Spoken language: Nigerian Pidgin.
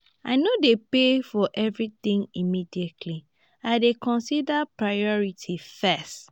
i no dey pay for everytin immediately i dey consider priority first.